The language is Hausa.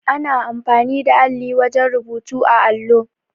Ana amfani da alli wajen rubutu á allo.